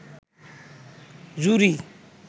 জুড়ি